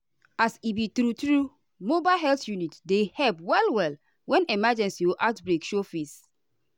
as e be true-true mobile health unit dey help well-well when emergency or outbreak show face.